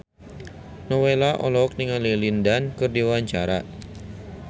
Nowela olohok ningali Lin Dan keur diwawancara